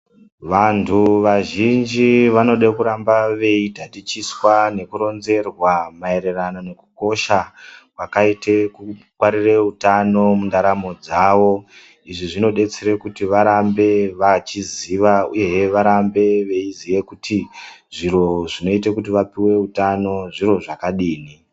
Vantu vazhinji vanoda kuramba veikutatichiswa nekuronzerwa maererano nekukosha kwakaita kungwarira utano mundaramo dzawo. Izvi zvinodetsera kuti varambe vachiziya uye he varambe veiziya kuti zviro zvinoita kuti vapiwe utano zviro zvakadini.